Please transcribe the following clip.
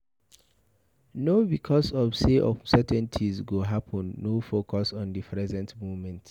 No because of sey uncertainties go happen no focus on di present moment